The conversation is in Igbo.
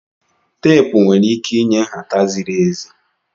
Teepu nwere ike inye nhata ziri ezi.